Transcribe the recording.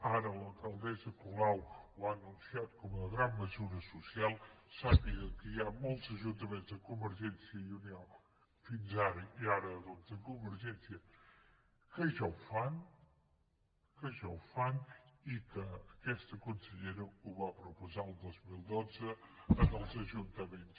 ara l’alcaldessa colau ho ha anunciat com a gran mesura social sàpiguen que hi ha molts ajuntaments de convergència i unió fins ara i ara doncs de convergència que ja ho fan que ja ho fan i que aquesta consellera ho va proposar el dos mil dotze als ajuntaments